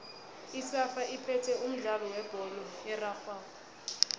isafa iphethe umdlalo webholo erarhwako